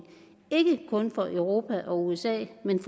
ikke kun for europa og usa men